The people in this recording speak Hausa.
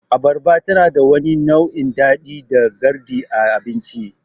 Abarba tanada wani nau'in daɗi da garɗi a abinci.